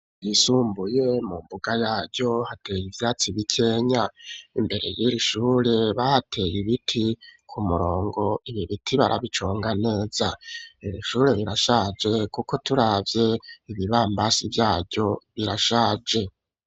Isuhure ryisumbuye mu mbuga yaryo hateye ibyatsi bikenya imbere y'irishure bahateye ibiti ku murongo ibi biti barabicunga neza irishure birashaje kuko turabye ibi bambasi byayo birashaje.